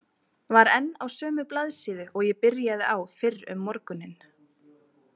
Var enn á sömu blaðsíðu og ég byrjaði á fyrr um morguninn.